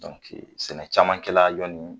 sɛnɛ caman kɛla yanni